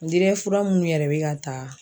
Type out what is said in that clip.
fura munnu yɛrɛ bɛ ka ta.